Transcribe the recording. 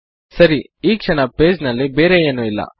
ಸರಿ ಈ ಕ್ಷಣ ಪೇಜ್ ನಲ್ಲಿ ಬೇರೆ ಏನು ಇಲ್ಲ